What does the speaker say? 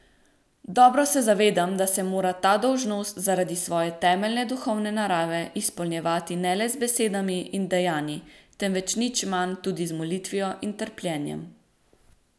Dobro se zavedam, da se mora ta dolžnost, zaradi svoje temeljne duhovne narave, izpolnjevati ne le z besedami in dejanji, temveč nič manj tudi z molitvijo in trpljenjem.